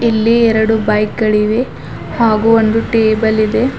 ಇಲ್ಲಿ ಎರಡು ಬೈಕ್ ಗಳಿವೆ ಹಾಗು ಒಂದು ಟೇಬಲ್ ಇದೆ.